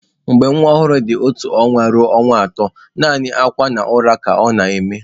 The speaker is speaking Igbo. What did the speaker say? Mgbe nwa ọhụrụ dị otu ọnwa ruo ọnwa atọ, naanị akwa na ụra ka ọ na-eme.